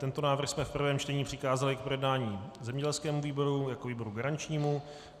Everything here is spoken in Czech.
Tento návrh jsme v prvém čtení přikázali k projednání zemědělskému výboru jako výboru garančnímu.